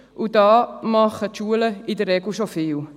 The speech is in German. Diesbezüglich machen die Schulen in der Regel schon viel.